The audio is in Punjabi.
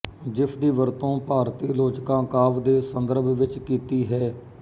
ਜਿਸਦੀ ਵਰਤੋਂ ਭਾਰਤੀ ਅਲਚੋਕਾਂ ਕਾਵਿ ਦੇ ਸੰਦਰਭ ਵਿੱਚ ਕੀਤੀ ਹੈ